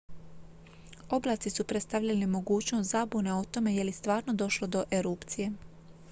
oblaci su predstavljali mogućnost zabune o tome je li stvarno došlo do erupcije